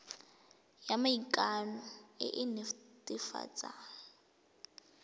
ya maikano e e netefatsang